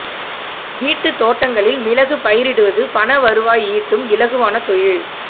வீட்டுத் தோட்டங்களில் மிளகு பயிரிடுவது பண வருவாய் ஈட்டும் இலகுவான தொழில்